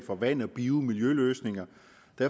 for vand bio miljøløsninger